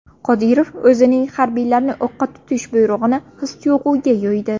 Qodirov o‘zining harbiylarni o‘qqa tutish buyrug‘ini his-tuyg‘uga yo‘ydi.